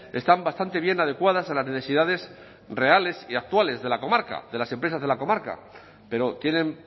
están bastante bien adecuadas a las necesidades reales y actuales de la comarca de las empresas de la comarca pero tienen